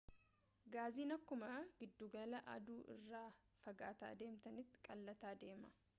gaaziin akkuma giddugala aduu irraa fagaataa deemtaniin qal'ataa deema